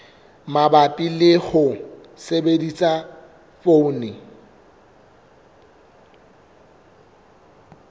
mabapi le ho sebedisa poone